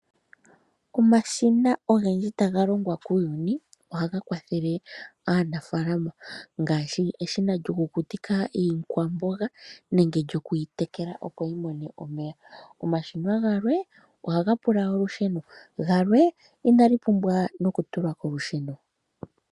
Omashina ogendji taga longwa kuuyuni ohaga kwathele aanafaalama ngaashi eshina lyokukutika iikwamboga nenge oku yi tekela, opo yi mone omeya. Omashina galwe ohaga pula olusheno, galwe inaga pumbwa nokutulwa kolusheno.